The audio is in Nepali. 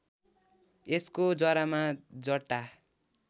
यसको जरामा जटा